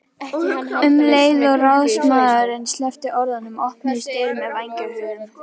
Um leið og ráðsmaðurinn sleppti orðinu opnuðust dyr með vængjahurðum.